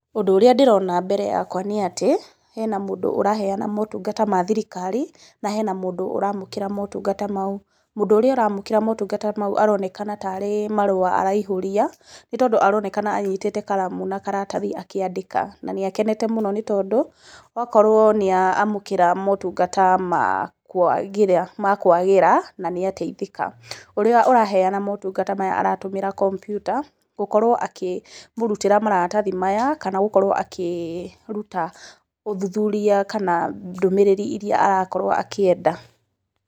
Ũndũ ũrĩa ndĩrona mbere yakwa nĩ atĩ, hena mũndũ ũraheana motunga ma thirikari na hena mũndũ ũramũkĩra motungata mau. Mũndũ ũrĩa ũramũkĩra motungata mau aronekana tarĩ marũa araihũria nĩ tondũ aronekana anyitĩte karamu na karatathi akĩandĩka, na nĩ akenete mũno nĩ tondũ okoro nĩ amũkĩra motungata ma kũagĩra na nĩ ateithĩka. Ũrĩa araheana motungata maya aratũmĩra kompyuta, gũkorwo akĩmũrutĩra maratathi maya kana gũkorwo akĩruta ũthuthuria kana ndũmĩrĩri iria arakorwo akĩenda.